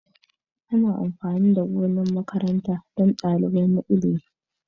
Ana amfani da gonar makaranta don dalilai na ilimi.